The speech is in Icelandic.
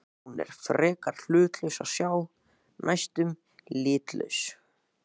Hún er frekar hlutlaus að sjá, næstum litlaus.